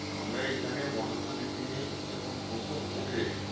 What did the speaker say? আমরা এখানে মটর শুটির জিনিস যখন প্রথম ওঠে,